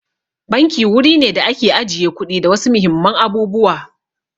Banki wuri ne da ake ajiye kuɗi da wasu muhimman abubuwa.